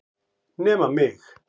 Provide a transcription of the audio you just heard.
Nema mig!